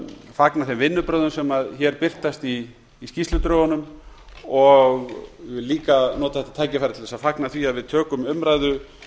fagna þeim vinnubrögðum sem hér birtast í skýrsludrögunum og vil líka nota þetta tækifæri til þess að fagna því að við tökum umræðu